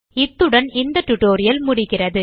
இத்துடன் இந்த டியூட்டோரியல் முடிகிறது